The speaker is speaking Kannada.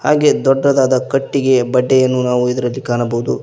ಹಾಗೆ ದೊಡ್ಡದಾದ ಕಟ್ಟಿಗೆಯ ಬಡ್ಡೆಯನ್ನು ನಾವು ಇದರಲ್ಲಿ ಕಾಣಬಹುದು.